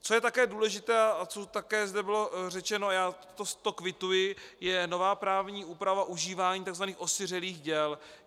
Co je také důležité a co také zde bylo řečeno, já to kvituji, je nová právní úprava užívání tzv. osiřelých děl.